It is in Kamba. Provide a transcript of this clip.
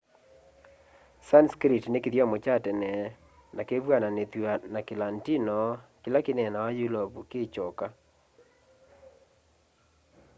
sanskrit ni kithyomo kya tene na kivw'ananithw'a na kilatino kila kinaeenawa yulovu kikyoka